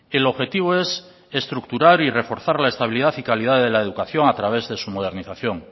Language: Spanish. el objetivo es estructurar y reforzar la estabilidad y calidad de la educación a través de su modernización